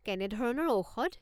কেনেধৰণৰ ঔষধ?